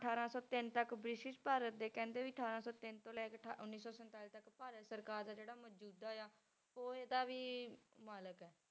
ਅਠਾਰਾਂ ਸੌ ਤਿੰਨ ਤੱਕ ਬ੍ਰਿਟਿਸ਼ ਭਾਰਤ ਦੇ ਕਹਿੰਦੇ ਵੀ ਅਠਾਰਾਂ ਸੌ ਤਿੰਨ ਤੋਂ ਲੈ ਕੇ ਠਾ~ ਉੱਨੀ ਸੌ ਸੰਤਾਲੀ ਤੱਕ ਭਾਰਤ ਸਰਕਾਰ ਦਾ ਜਿਹੜਾ ਮੌਜੂਦਾ ਆ ਉਹ ਇਹਦਾ ਵੀ ਮਾਲਕ ਹੈ।